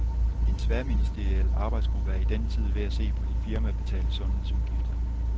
En tværministeriel arbejdsgruppe er i denne tid ved at se på de firmabetalte sundhedsudgifter.